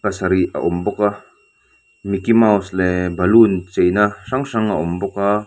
pasarih a awm bawk a micky mouse leh balloon cheina hrang hrang a awm bawk a.